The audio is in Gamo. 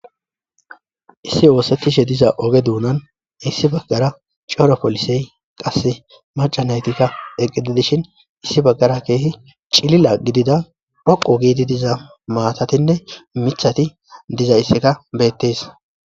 issi oosettishe diza oge duunan issi baggara cora polisey qasse macanaytikka eqqididishin issi baggara keehi cilila gidida phaqo giiti diza maatatinne michati diza isseka beettes